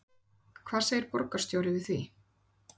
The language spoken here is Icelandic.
Hvað segir borgarstjóri við því?